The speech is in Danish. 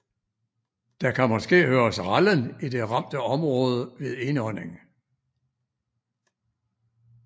Der kan måske høres rallen i det ramte område ved indånding